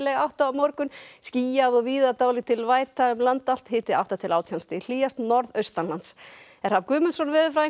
átt á morgun skýjað og víða dálítil væta um land allt og hiti átta til átján stig hlýjast norðaustanlands Hrafn Guðmundsson veðurfræðingur